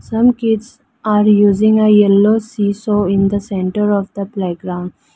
some kids are using a yellow see saw in the center of the playground.